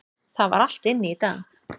Það er allt inni í dag.